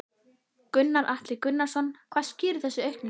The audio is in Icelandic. Gunnar Atli Gunnarsson: Hvað skýrir þessa aukningu?